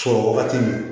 Sɔrɔ wagati min